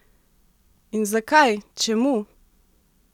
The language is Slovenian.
In zakaj, čemu?